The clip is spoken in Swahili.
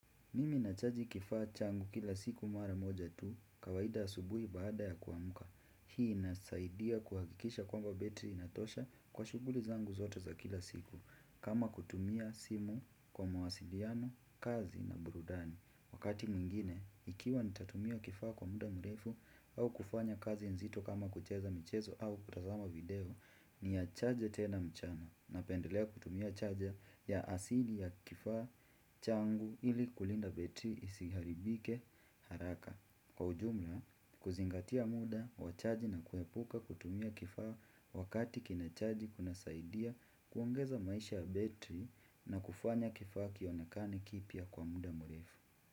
Mimi nachaji kifaa changu kila siku mara moja tu kawaida asubuhi baada ya kuamka. Hii inasaidia kuhakikisha kwamba betri inatosha kwa shuguli zangu zote za kila siku kama kutumia simu kwa mwasiliano, kazi na burudani. Wakati mwingine, ikiwa nitatumia kifaa kwa muda mrefu au kufanya kazi nzito kama kucheza michezo au kutazama video ni ya charge tena mchana na pendelea kutumia charger ya asili ya kifaa changu ili kulinda betri isiharibike haraka. Kwa ujumla, kuzingatia muda, wachaji na kuepuka kutumia kifaa wakati kina chaji kuna saidia kuongeza maisha ya betri na kufanya kifaa kionekane kipya kwa muda mrefu.